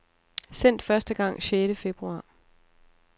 Sendt første gang sjette februar.